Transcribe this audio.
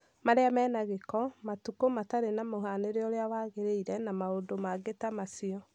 marĩa me na gĩko, matũku, matarĩ na mũhanĩre ũrĩa wagĩrĩire, na maũndũ mangĩ ta macio.